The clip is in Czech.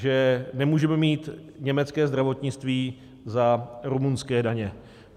Že nemůžeme mít německé zdravotnictví za rumunské daně.